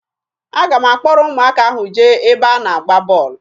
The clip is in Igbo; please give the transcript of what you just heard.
Aga m akpọrọ ụmụaka ahụ jee ebe a na-agba bọọlụ